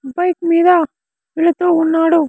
Bike మీద వెలుతూ ఉన్నాడు.